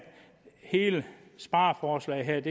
hele spareforslaget her